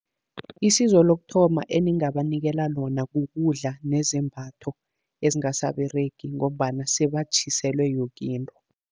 Isizo lokuthoma eningabanikela lona, kukudla nezembatho ezingasaberegi, ngombana sebatjhiselwe yoke into.